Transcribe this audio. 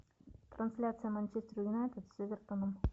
трансляция манчестер юнайтед с эвертоном